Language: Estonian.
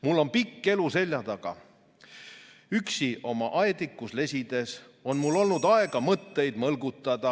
Mul on pikk elu seljataga, üksi oma aedikus lesides on mul olnud aega mõtteid mõlgutada ..."